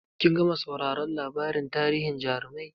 Kin gama sauraron labarin tarihin jarumai?